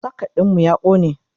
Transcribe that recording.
socket ɗinmu ya ƙone